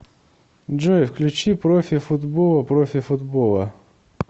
джой включи профи футбола профи футбола